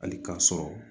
Hali k'a sɔrɔ